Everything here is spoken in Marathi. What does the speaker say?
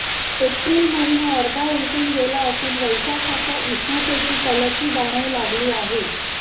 एप्रिल महिना अर्धा उलटून गेला असून वैशाखाच्या उष्णतेची तलखी जाणवू लागली आहे